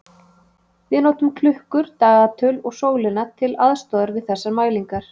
Við notum klukkur, dagatöl og sólina til aðstoðar við þessar mælingar.